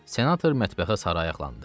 Senator mətbəxə sarı ayaqlandı.